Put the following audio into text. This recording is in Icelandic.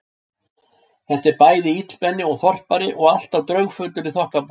Þetta er bæði illmenni og þorpari og alltaf draugfullur í þokkabót.